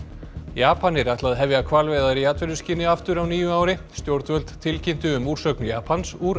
Japanir ætla að hefja hvalveiðar í atvinnuskyni aftur á nýju ári stjórnvöld tilkynntu um úrsögn Japans úr